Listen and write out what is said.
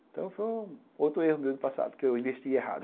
Então, foi outro erro meu do passado, que eu investi errado.